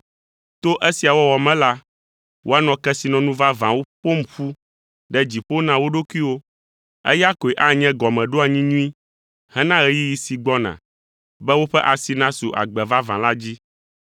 To esia wɔwɔ me la, woanɔ kesinɔnu vavãwo ƒom ƒu ɖe dziƒo na wo ɖokuiwo. Eya koe anye gɔmeɖoanyi nyui hena ɣeyiɣi si gbɔna, be woƒe asi nasu agbe vavã la dzi.